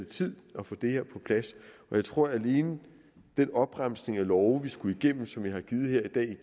tid at få det her på plads og jeg tror at alene den opremsning af love vi skulle igennem og som jeg har givet her i dag